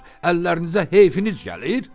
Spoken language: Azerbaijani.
Əllərinizə heyfiniz gəlir?